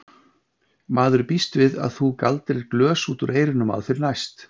Maður býst við að þú galdrir glös út úr eyrunum á þér næst!